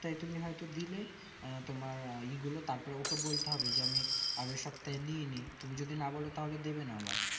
তুমি হয় তো দিলে আঃ তোমার ই গুলো তারপরে ওকে বলতে হবে যে আমি আগের সপ্তাহে নিয়েনি তুমি যদি না বোলো তাহলে দিবেনা আবার